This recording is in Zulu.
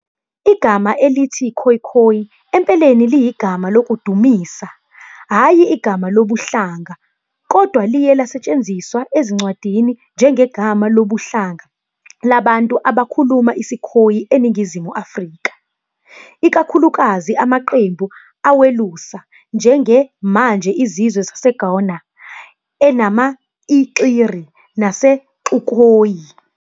Igama elithi "Khoekhoe" empeleni liyigama lokudumisa, hhayi igama lobuhlanga, kodwa liye lasetshenziswa ezincwadini njengegama lobuhlanga labantu abakhuluma isiKhoe eNingizimu Afrika, ikakhulukazi amaqembu awelusa, njenge !Manje! Izizwe zaseGona, eNama, I-Xiri naseXukhoe.